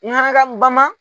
ka bama